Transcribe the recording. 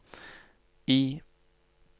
I